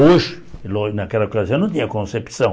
Hoje, naquela coisa, eu não tinha concepção.